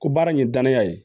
Ko baara in ye danaya ye